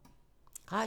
Radio 4